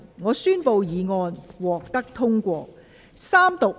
我宣布議案獲得通過。